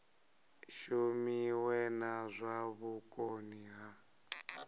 shumiwe na zwa vhukoni ha